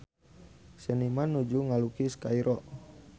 Seniman nuju ngalukis Kairo